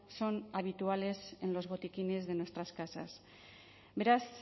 son habituales en los botiquines de nuestras casas beraz